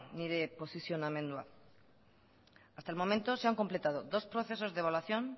nire posizionamendua hasta el momento se han completado dos procesos de evaluación